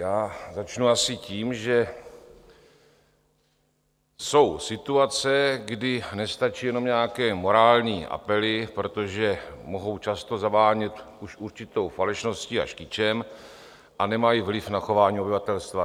Já začnu asi tím, že jsou situace, kdy nestačí jenom nějaké morální apely, protože mohou často zavánět už určitou falešností až kýčem a nemají vliv na chování obyvatelstva.